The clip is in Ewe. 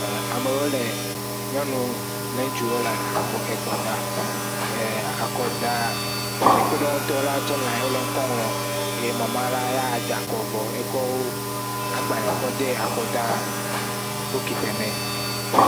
e amewo le nyɔnuwo kple ŋutsuwo wóle akɔ da akɔ da kpekpeɖeŋu tɔɖewo tsɛ wó layin le ŋkɔ ŋlɔm ye mamaɖa da'kɔ vɔ ekɔ wó agbale kɔ de akɔda bukitɛ mɛ